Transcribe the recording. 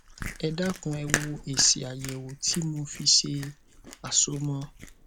ẹ dákun ẹ wo èsì àyèwò tí mo fi ṣe àsomọ